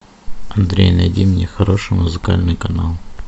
андрей найди мне хороший музыкальный канал